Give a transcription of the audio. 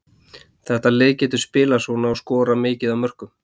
Þetta lið getur spilað svona og skorað mikið af mörkum.